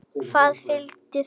Hvað viljið þið!